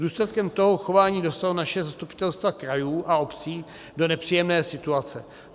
Důsledkem tohoto chování dostalo naše zastupitelstva krajů a obcí do nepříjemné situace.